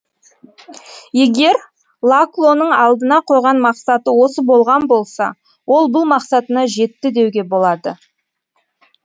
егер лаклоның алдына қойған мақсаты осы болған болса ол бұл мақсатына жетті деуге болады